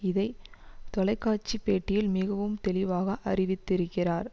இதை தொலைக்காட்சி பேட்டியில் மிகவும் தெளிவாக அறிவித்திருக்கிறார்